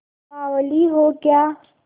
बावली हो क्या